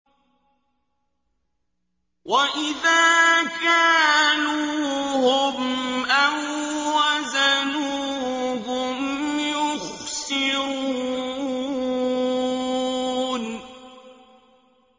وَإِذَا كَالُوهُمْ أَو وَّزَنُوهُمْ يُخْسِرُونَ